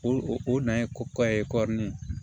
O o nan ye ko ye kɔri